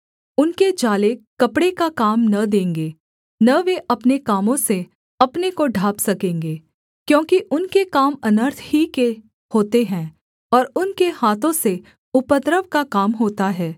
उनके जाले कपड़े का काम न देंगे न वे अपने कामों से अपने को ढाँप सकेंगे क्योंकि उनके काम अनर्थ ही के होते हैं और उनके हाथों से उपद्रव का काम होता है